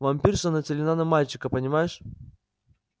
вампирша нацелена на мальчика понимаешь